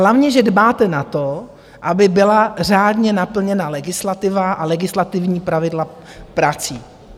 Hlavně že dbáte na to, aby byla řádně naplněna legislativa a legislativní pravidla prací.